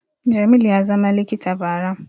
Jamil ya zama likita bara